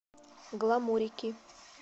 гламурики